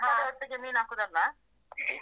ಮಸಾಲೆ ಒಟ್ಟಿಗೆ ಮೀನು ಹಾಕುದಲ್ಲ.